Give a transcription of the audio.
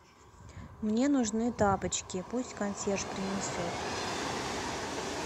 мне нужны тапочки пусть консьерж принесет